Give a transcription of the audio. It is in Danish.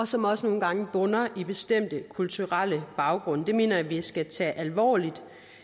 som også nogle gange bunder i bestemte kulturelle baggrunde det mener jeg vi skal tage alvorligt